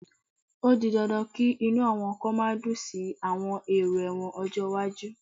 O di dandan kí inú àwọn kan má dùn sí àwọn èrò ẹ̀wọ̀n ọjọ́ iwájú